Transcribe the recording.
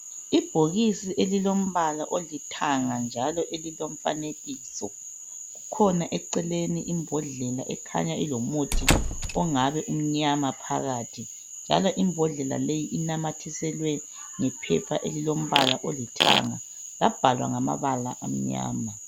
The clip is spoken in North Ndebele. Ibhokisi elombala olithanga njalo elilomfanekiso, kukhona eceleni imbhodlela ekhanya ilomuthi ongabe umnyama phakathi njalo imbodlela leyo inamathiselwe yiphepha elilombala olithanga labhalwa ngamabala amnyama.